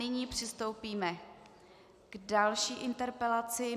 Nyní přistoupíme k další interpelaci.